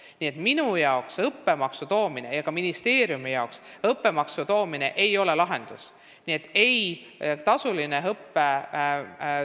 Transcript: Nii et minu arvates ega ka ministeeriumi seisukohalt ei ole õppemaksu tagasitoomine lahendus.